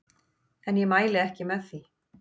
En ég mæli ekki með því.